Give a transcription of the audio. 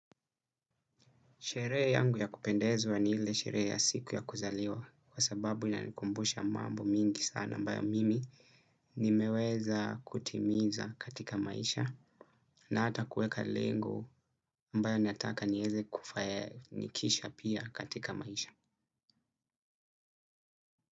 Sherehe yangu ya kupendezwa ni ile sherehe ya siku ya kuzaliwa kwa sababu inanikumbusha mambo mingi sana ambayo mimi nimeweza kutimiza katika maisha na hata kuweka lengo ambayo nataka nieze kufanikisha pia katika maisha.